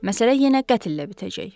Məsələ yenə qətlə bitəcək.